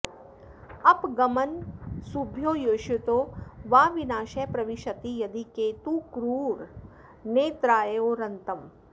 अपगमनमसुभ्यो योषितो वा विनाशः प्रविशति यदि केतुः क्रूरनेत्रायुरन्तम्